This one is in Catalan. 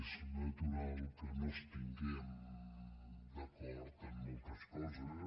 és natural que no estiguem d’acord en moltes coses